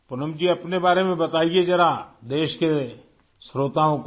پونم جی اپنے بارے میں بتائے ذرا ملک کے سامعین کو